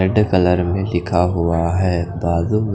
red colour में लिखा हुआ हैं बागुल--